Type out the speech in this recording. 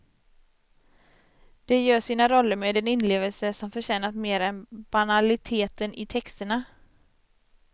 De gör sina roller med en inlevelse som förtjänat mer än banaliteten i texterna.